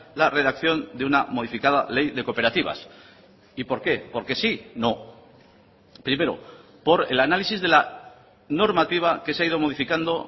la redacción de una modificada ley de cooperativas y por qué porque sí no primero por el análisis de la normativa que se ha ido modificando